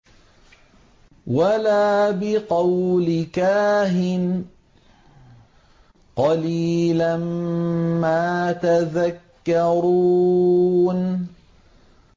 وَلَا بِقَوْلِ كَاهِنٍ ۚ قَلِيلًا مَّا تَذَكَّرُونَ